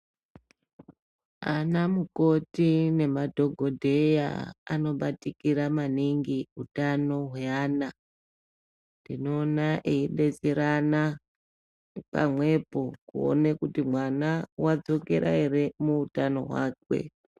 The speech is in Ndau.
Ana mukoti nemadhokodheya anobatikira maningi kuti utano hwevana tinoona eidetserana pamweni kuona kuti mwana wadzokera ere muhutano hwake.